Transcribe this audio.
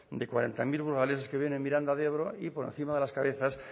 de cuarenta mil burgaleses que viven en miranda de ebro y por encima de las cabezas